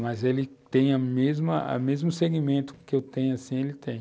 Mas ele tem a mesma, o mesmo segmento que eu tenho, assim, ele tem.